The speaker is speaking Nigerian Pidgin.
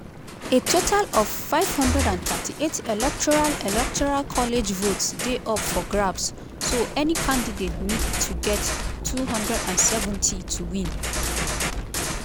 a total of 538 electoral electoral college votes dey up for grabs so any candidate need to get 270 to win.